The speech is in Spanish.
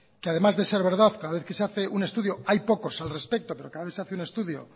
que además de ser verdad cada vez que se hace un estudio hay pocos al respecto pero cada vez que se hace un estudio